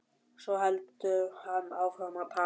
Svo heldur hann áfram að tala.